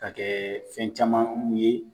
Ka kɛ fɛn caman kulu ye.